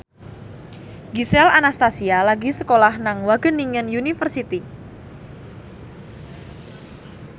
Gisel Anastasia lagi sekolah nang Wageningen University